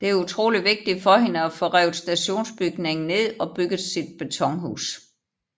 Det er utroligt vigtigt for hende at få revet stationsbygningen ned og bygget sit betonhus